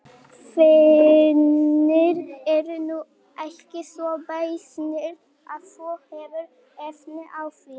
Þínir eru nú ekki svo beysnir að þú hafir efni á því.